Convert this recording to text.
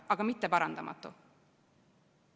Aga mitte parandamatu.